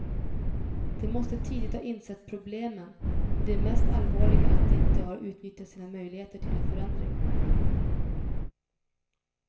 De måste tidigt ha insett problemen, och det mest allvarliga är att de inte har utnyttjat sina möjligheter till en förändring.